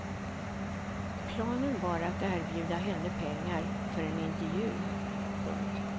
Planen var att erbjuda henne pengar för en intervju. punkt